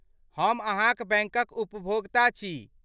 हम अहाँक बैंकक उपभोक्ता छी।